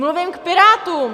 Mluvím k Pirátům.